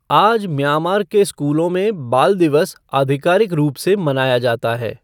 आज म्यांमार के स्कूलों में बाल दिवस आधिकारिक रूप से मनाया जाता है।